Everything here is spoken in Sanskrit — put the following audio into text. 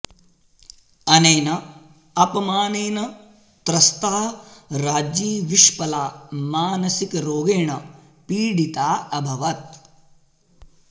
अनेन अपमानेन त्रस्ता राज्ञी विश्पला मानसिकरोगेण पीडिता अभवत्